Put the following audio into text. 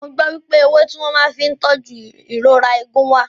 Mo gbọ́ wípé ewé tí wọ́n màá fí ń tóju ìrora eegun wà.